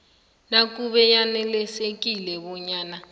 nakube yanelisekile bonyana